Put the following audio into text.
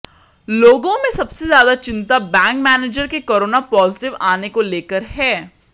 लोगों में सबसे ज्यादा चिंता बैंक मैनेजर के कोरोना पॉजिटिव आने को लेकर है